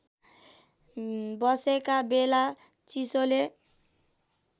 बसेका बेला चिसोले